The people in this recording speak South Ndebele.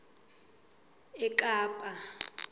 ekapa